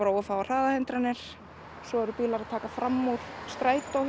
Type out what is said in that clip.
of fáar hraðahindranir svo eru bílar að taka fram úr strætó